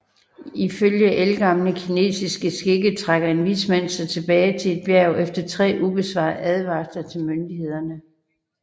Ifølge ældgamle kinesiske skikke trækker en vismand sig tilbage til et bjerg efter tre ubesvarede advarsler til myndighederne